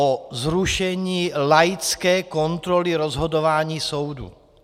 O zrušení laické kontroly rozhodování soudů.